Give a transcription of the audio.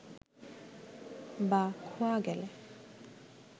বা খোয়া গেলে